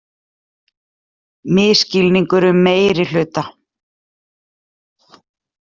Misskilningur um meirihluta